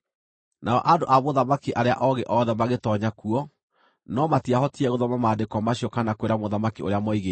Nao andũ a mũthamaki arĩa oogĩ othe magĩtoonya kuo, no matiahotire gũthoma maandĩko macio kana kwĩra mũthamaki ũrĩa moigĩte.